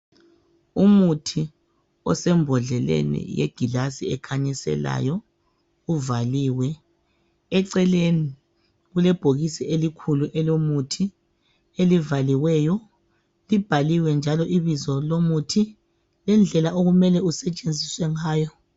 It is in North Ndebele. Umuthi osembodleleni yegilazi ekhanyiselayo uvaliwe. Eceleni kulebhokisi elikhulu elomuthi elivaliweyo libhaliwe njalo ibizo lomuthi lendlela okumele usetshenziswe ngayo.